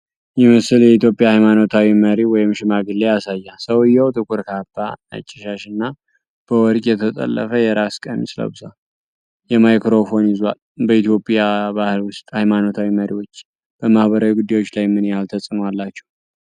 ይህ ምስል የኢትዮጵያ ሃይማኖታዊ መሪ ወይም ሽማግሌ ያሳያል። ሰውዬው ጥቁር ካባ፣ ነጭ ሻሽ እና በወርቅ የተጠለፈ የራስ ቀሚስ ለብሷል፤ ማይክሮፎን ይዟል። በኢትዮጵያ ባህል ውስጥ ሃይማኖታዊ መሪዎች በማህበራዊ ጉዳዮች ላይ ምን ያህል ተጽእኖ አላቸው?